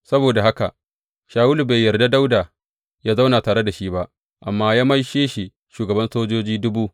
Saboda haka Shawulu bai yarda Dawuda yă zauna tare da shi ba, amma ya maishe shi shugaban sojoji dubu.